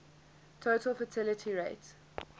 total fertility rate